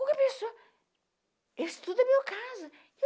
Qualquer pessoa, isso tudo é meu caso.